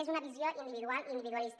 és una visió individual i individualista